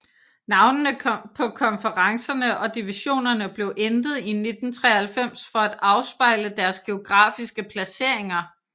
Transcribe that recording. Navnene på konferencerne og divisionerne blev ændret i 1993 for at afspejle deres geografiske placeringer